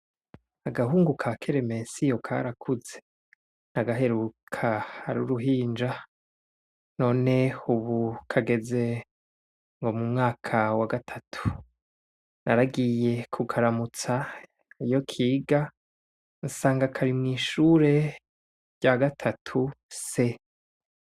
Agahungu ka keremesiyo karakuze ndagaheruka ari uruhinja noe ubu kageze mumwaka wa gatatu naragiye kukaramutsa iyo kiga sanga kari mwishure ryagatatu C